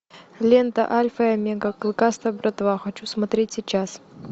лента альфа и омега клыкастая братва хочу смотреть сейчас